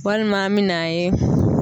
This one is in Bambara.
Walima an mɛ n'a ye